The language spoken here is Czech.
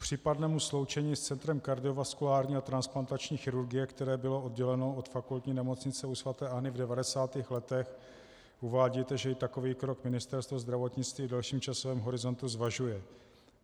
K případnému sloučení s Centrem kardiovaskulární a transplantační chirurgie, které bylo odděleno od Fakultní nemocnice u sv. Anny v 90. letech, uvádíte, že i takový krok Ministerstvo zdravotnictví v delším časovém horizontu zvažuje.